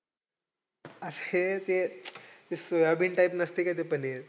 अक्षय ते ते soybean type नसतंय का ते पनीर?